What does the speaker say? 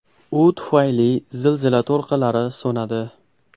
U tufayli zilzila to‘lqinlari so‘nadi.